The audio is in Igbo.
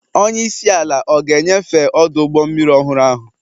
Onye isi ala ọ ga-enyefe ọdụ ụgbọ mmiri ọhụrụ ahụ?